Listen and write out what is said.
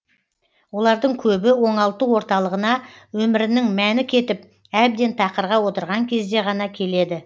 олардың көбі оңалту орталығына өмірінің мәні кетіп әбден тақырға отырған кезде ғана келеді